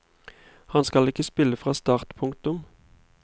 Han skal ikke spille fra start. punktum